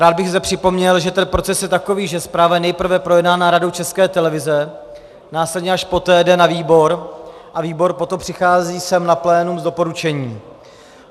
Rád bych zde připomněl, že ten proces je takový, že zpráva je nejprve projednána Radou České televize, následně až poté jde na výbor a výbor potom přichází sem na plénum s doporučením.